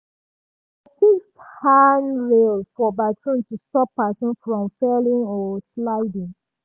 dem fix handrail for bathroom to stop person from falling or sliding.